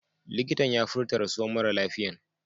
Likitan ya furta rasuwan mara lafiyan.